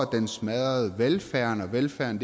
den smadrer velfærden og velfærden